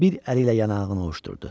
Bir əli ilə yanağını ovuşdurdu.